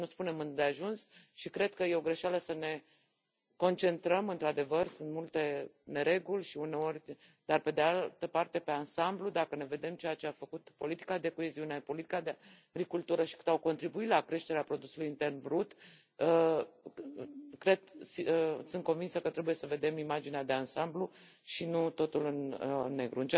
Poate nu spunem îndeajuns și cred că e o greșeală să ne concentrăm, într adevăr sunt multe nereguli, dar, pe de altă parte, per ansamblu, dacă vedem ceea ce a făcut politica de coeziune, politica de agricultură și cât au contribuit la creșterea produsului intern brut, sunt convinsă că trebuie să vedem imaginea de ansamblu și nu totul în negru.